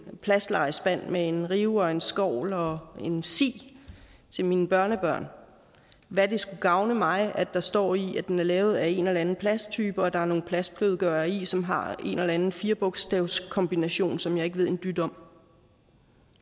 plastlegespand med en rive og en skovl og en si til mine børnebørn hvad det skulle gavne mig at der står i den at den er lavet af en eller anden plasttype og at der er nogle plastblødgører i som har en eller anden firebogstavskombination som jeg ikke ved en dyt om